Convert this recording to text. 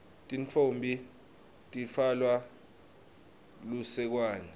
tintfombi titfwale lusekwane